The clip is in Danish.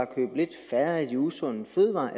købe lidt færre af de usunde fødevarer